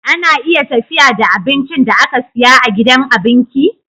Ana iya tafiya da abincin da aka siya a gidan abinki